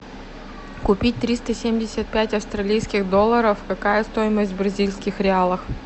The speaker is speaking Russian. купить триста семьдесят пять австралийских долларов какая стоимость в бразильских реалах